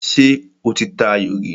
Ṣé o ti ta ayò rí?